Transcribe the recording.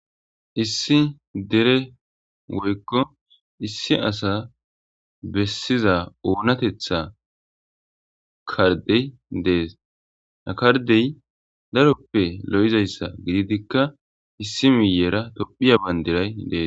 Issi asa dere woyko issi asa besiza onatetha kardey Des, ha kardey daroppe lo'izaysa gididika issi miyera tophiya Bandray Des.